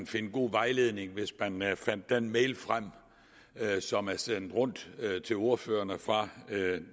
finde god vejledning hvis man man fandt den mail frem som er sendt rundt til ordførerne fra